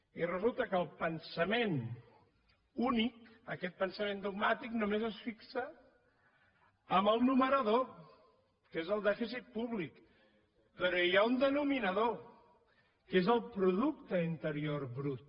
i resulta que el pensament únic aquest pensament dogmàtic només es fixa en el numerador que és el dèficit públic però hi ha un denominador que és el producte interior brut